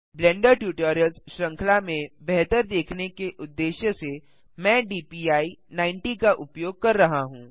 blender tutorials श्रृंखला में बेहतर देखने के उद्देश्य से मैं DPI90 का उपयोग कर रहा हूँ